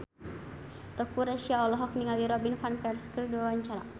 Teuku Rassya olohok ningali Robin Van Persie keur diwawancara